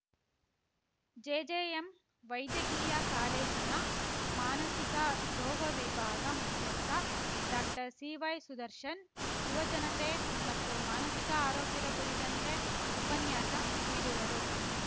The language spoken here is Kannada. ಜೆಜೆಎಂ ವೈದ್ಯಕೀಯ ಕಾಲೇಜಿನ ಮಾನಸಿಕ ರೋಗ ವಿಭಾಗ ಮುಖ್ಯಸ್ಥ ಡಾಕ್ಟರ್ಸಿವೈಸುದರ್ಶನ್‌ ಯುವ ಜನತೆ ಮತ್ತು ಮಾನಸಿಕ ಆರೋಗ್ಯದ ಕುರಿತಂತೆ ಉಪನ್ಯಾಸ ನೀಡುವರು